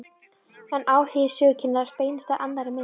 En áhugi sögukennarans beinist að annarri mynd.